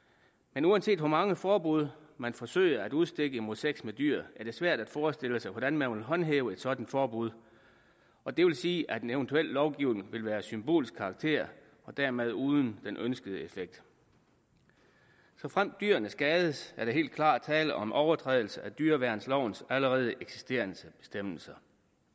men uanset hvor mange forbud man forsøger at udstikke imod sex med dyr er det svært at forestille sig hvordan man vil håndhæve et sådant forbud og det vil sige at en eventuel lovgivning vil være af symbolsk karakter og dermed uden den ønskede effekt såfremt dyrene skades er der helt klart tale om overtrædelse af dyreværnslovens allerede eksisterende bestemmelser